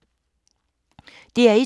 DR1